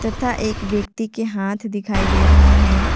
तथा एक व्यक्ति के हाथ दिखाई दे रहे हैं।